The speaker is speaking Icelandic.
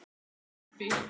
Hrærðu upp í!